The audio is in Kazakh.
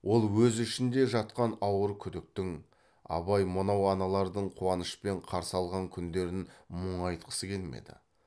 ол өз ішінде жатқан ауыр күдіктің абай мынау аналардың қуанышпен қарсы алған күндерін мұңайтқысы келмеді